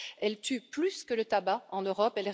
Elle tue plus que le tabac en Europe.